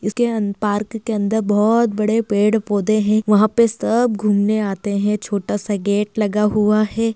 इसके अं पार्क के अंदर बहोत बड़े पेड़ पौधे हैं वहाँ पे सब घुमने आते हैं छोटा सा गेट लगा हुआ है।